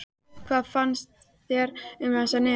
Hvað finnst þér um þessa niðurstöðu?